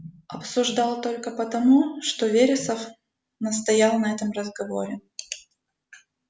обсуждал только потому что вересов настоял на этом разговоре